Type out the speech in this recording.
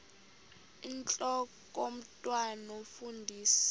intlok omntwan omfundisi